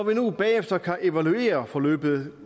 vi nu bagefter kan evaluere forløbet